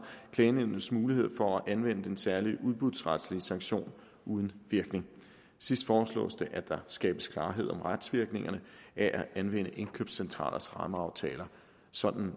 klagenævnets mulighed for at anvende den særlige udbudsretlige sanktion uden virkning sidst foreslås det at der skabes klarhed om retsvirkningerne ved at anvende indkøbscentralers rammeaftaler sådan